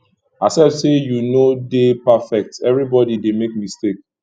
accept say yu no de perfect evribodi dey make mistake